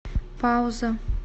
пауза